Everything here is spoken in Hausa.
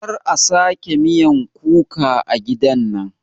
Kar a sake miyan kuka a gidan nan